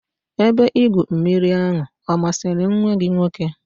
Ebe igwu mmiri ahụ ọ masịrị nwa gị nwoke?